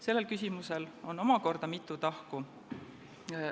Sellel küsimusel on omakorda mitu tahku.